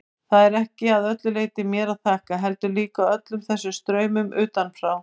Það er ekki að öllu leyti mér að þakka, heldur líka öllum þessum straumum utanfrá.